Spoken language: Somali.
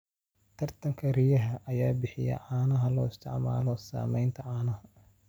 Taranka riyaha ayaa bixiya caanaha loo isticmaalo samaynta caanaha.